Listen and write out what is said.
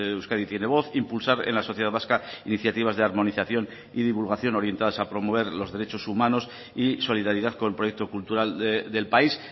euskadi tiene voz impulsar en la sociedad vasca iniciativas de armonización y divulgación orientadas a promover los derechos humanos y solidaridad con el proyecto cultural del país